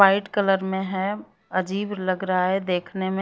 White colour में है अजीब लग रहा है देखने में।